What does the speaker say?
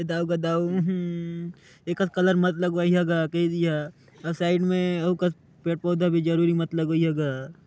ए दाउ गा दाउ उहु एकर कलर मत लगवइहा गा कई दिहा अउ साइड में अउ कत पेड़-पउधा भी जरूरी मत लगवइहा गा --